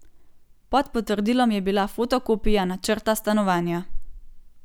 Pod potrdilom je bila fotokopija načrta stanovanja.